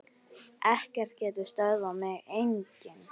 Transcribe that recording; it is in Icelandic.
Ekkert getur stöðvað mig, enginn.